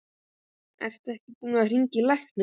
Ertu ekki búinn að hringja á lækni?